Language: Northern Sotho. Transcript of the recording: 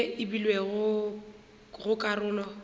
ye e beilwego go karolo